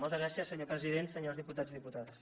moltes gràcies senyor president senyors diputats i diputades